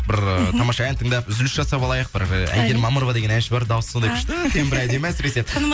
бір ыыы тамаша ән тыңдап үзіліс жасап алайық бір әйгерім мамырова деген әнші бар дауысы сондай күшті екен бір әдемі әсіресе